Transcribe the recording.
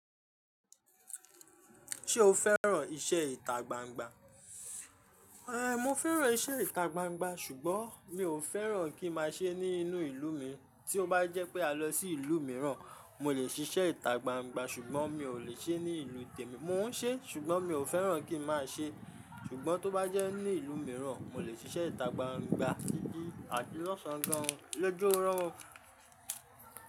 Ṣé o fẹ́ràn iṣẹ́ ìta gbangba? Èé, mo fẹ́ràn iṣẹ́ ìta gbangba, ṣùgbọ́n mi ò fẹ́ràn kí máa ṣe é ní inú ìlú mi. Tí ó bá jẹ́ pé a lọ sí ìlú mìíràn, mo lè ṣiṣẹ́ ìta gbangba, ṣùgbọ́n mi ò lè ṣe é ní ìlú tèmi. Mò ń ṣe é, ṣùgbọ́n mi ò fẹ́ràn kí n máa ṣe é. Ṣùgbọ́n tó bá jẹ́ ní ìlú mìíràn, mo lè ṣiṣẹ́ ìta gbangba. Dídi àti lọ́ṣọ̀ọ̀ gán. Lójú ọ́rọ̀.